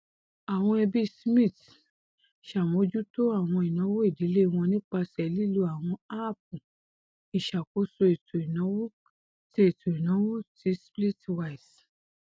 àwọn ẹbí smith ṣàmójútó àwọn ìnáwó ìdílé wọn nípasẹ lílò àwọn áàpù ìṣakóso ètò ìnáwó ti ètò ìnáwó ti splitwise